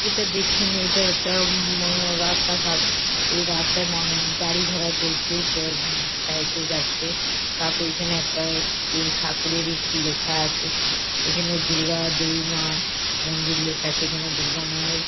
এটা দেখছে মেয়েটা একটা উমম রাস্তাঘাট। এই রাস্তায় মানু গাড়ি ঘোড়া চলছে একটা উম সাইকেল যাচ্ছে। তাপরে এখানে সি ঠাকুরের ই কি লেখা আছে। এখানে দূর্গা দেবী মা মন্দির লেখা আছে। এখানে দুর্গা মা- এর --